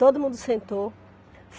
Todo mundo sentou.